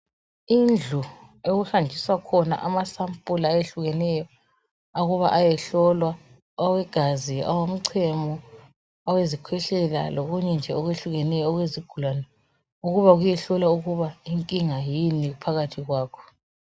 Indlu okuhanjiswa khona amasampula ehlukeneyo ukuba ayehlolwa awegazi, awomchemo awezikhwehlela lokunye nje okwehlukeneyo okwezigulane ukuba kuyehlolwa ukuba inkinga yini phakathi kwakho